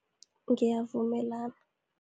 Ngiyavumelana.